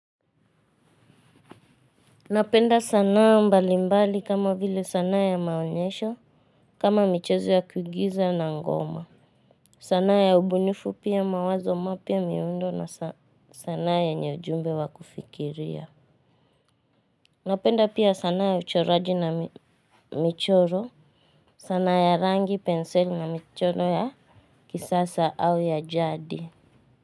Napenda sanaa mbalimbali kama vile sanaa ya maonyesho, kama michezo ya kuigiza na ngoma. Sanaa ya ubunifu pia mawazo mapya miundo na sanaa yenye ujumbe wa kufikiria. Napenda pia sanaa ya uchoraji na michoro, sanaa ya rangi, penseli na michoro ya kisasa au ya jadi.